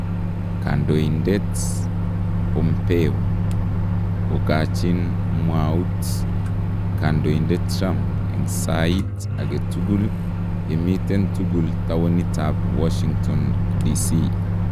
Kandoindet Bompeo kokachin mwawuut kandoindet Trump en sayiit agetukul yamiten tukul towunitab Washington DC.